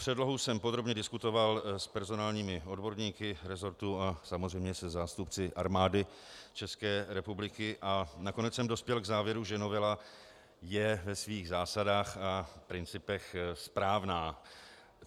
Předlohu jsem podrobně diskutoval s personálními odborníky resortu a samozřejmě se zástupci Armády České republiky a nakonec jsem dospěl k závěru, že novela je ve svých zásadách a principech správná.